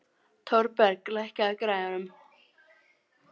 Thorberg, lækkaðu í græjunum.